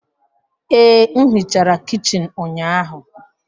Ee, m hichara kichin ụnyahụ